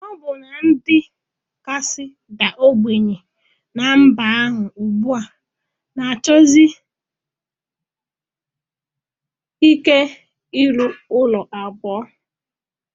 Ọbụna ndị kasị daa ogbenye ná mba ahụ ugbu a na-achọsi ike ịrụ ụlọ abụọ